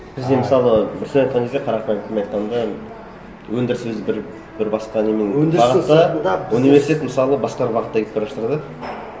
бізде мысалы бір сөзбен айтқан кезде қарапайым тілмен айтқанда өндірісіміз бір бір басқа немен бағытта университет мысалы басқа бағытта кетіп бара жатыр да